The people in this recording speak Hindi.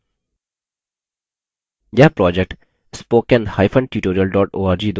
यह project